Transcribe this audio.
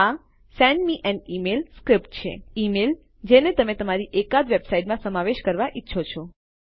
આ send me an email script છે email જેને તમે તમારી એકાદ વેબસાઈટમાં સમાવેશ કરવાં ઈચ્છો છો